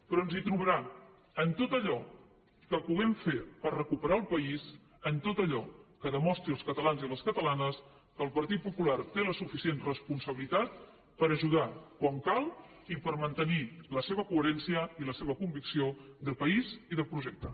però ens hi trobarà en tot allò que puguem fer per recuperar el país en tot allò que demostri als catalans i a les catalanes que el partit popular té la suficient responsabilitat per ajudar quan cal i per mantenir la seva coherència i la seva convicció de país i de projecte